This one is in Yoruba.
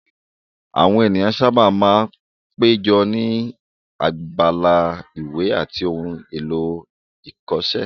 Àwọn ènìyàn sáábà máa ń péjọ ní abala ìwé àti ohun èlò ìkọṣẹ́